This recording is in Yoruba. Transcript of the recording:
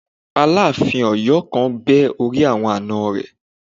Aláàfin Ọyọ kan bẹ́ orí àwọn àna rẹ̀